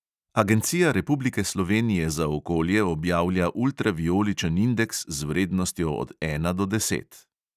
Agencija republike slovenije za okolje objavlja ultravijoličen indeks z vrednostjo od ena do deset.